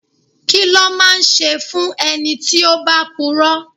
Kí ló máa ń ṣe fún ẹni tí ó bá puro?